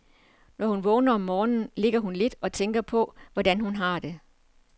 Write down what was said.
Når hun vågner om morgenen, ligger hun lidt og tænker på, hvor godt hun har det.